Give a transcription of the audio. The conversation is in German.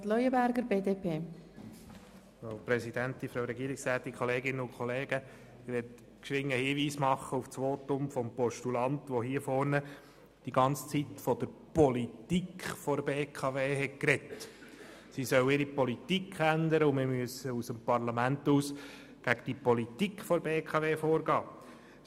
Ich möchte rasch einen Hinweis auf das Votum des Postulanten machen, der hier vorne die ganze Zeit über von der Politik der BKW gesprochen hat, dahingehend, dass diese ihre Politik ändern solle und man vonseiten des Parlaments gegen die Politik der BKW vorgehen müsse.